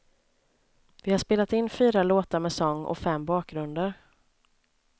Vi har spelat in fyra låtar med sång och fem bakgrunder.